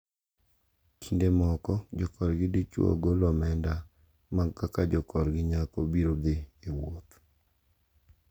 Kinde moko jokorgi dichwo golo omenda mag kaka jokorgi nyako biro dhi e wuoth.